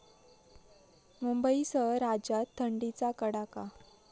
मुंबईसह राज्यात थंडीचा कडाका